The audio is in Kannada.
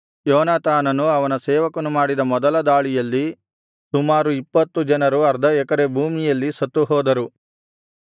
ಯೋನಾತಾನನು ಅವನ ಸೇವಕನು ಮಾಡಿದ ಮೊದಲ ದಾಳಿಯಲ್ಲಿ ಸುಮಾರು ಇಪ್ಪತ್ತು ಜನರು ಅರ್ಧ ಎಕರೆ ಭೂಮಿಯಲ್ಲಿ ಸತ್ತುಹೋದರು